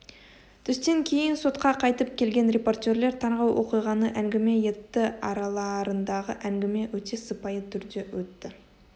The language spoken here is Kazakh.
түстен кейін сотқа қайтып келген репортерлер таңғы оқиғаны әңгіме етті араларындағы әңгіме өте сыпайы түрде өтті